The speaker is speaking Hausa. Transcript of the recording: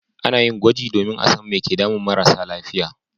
A na yin gwaji domin a san mai ke damun marasa lafiya